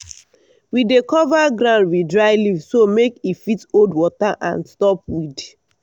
we dey cover ground with dry leaf so make e fit hold water and stop weed.